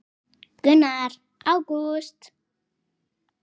Gunnar: Ágúst?